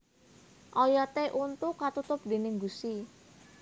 Oyoté untu katutup déning gusi